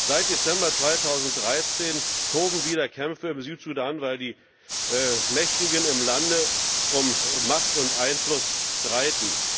seit Dezember 2013 toben wieder Kämpfe im Südsudan, weil die Mächtigen im Lande um Macht und Einfluss streiten.